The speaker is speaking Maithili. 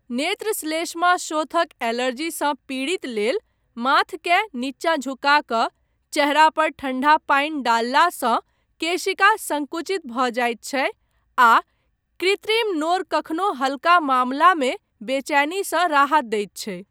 नेत्रश्लेष्माशोथक एलर्जीसँ पीड़ित लेल, माथकेँ नीचा झुका कऽ चेहरा पर ठण्डा पानि डाललासँ केशिका संकुचित भऽ जाइत छै, आ कृत्रिम नोर कखनो हल्का मामलामे बेचैनीसँ राहत दैत छै।